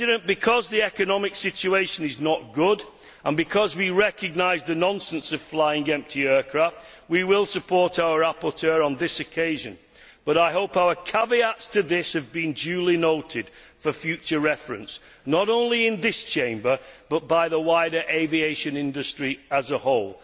Because the economic situation is not good and because we recognise the nonsense of flying empty aircraft, we will support our rapporteur on this occasion, but I hope our caveats to this have been duly noted for future reference, not only in this Chamber, but by the wider aviation industry as a whole.